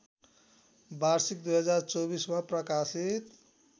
वार्षिक २०२४ मा प्रकाशित